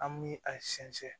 An bi a sɛnsɛn